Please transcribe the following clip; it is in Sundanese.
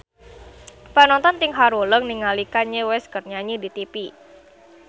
Panonton ting haruleng ningali Kanye West keur nyanyi di tipi